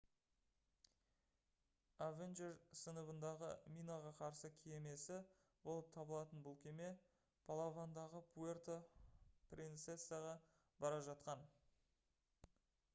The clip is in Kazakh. avenger сыныбындағы минаға қарсы кемесі болып табылатын бұл кеме палавандағы пуэрто принцесаға бара жатқан